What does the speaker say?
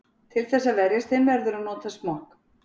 Til þess að verjast þeim verður að nota smokk.